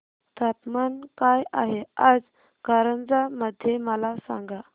तापमान काय आहे आज कारंजा मध्ये मला सांगा